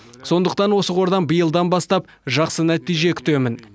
сондықтан осы қордан биылдан бастап жақсы нәтиже күтемін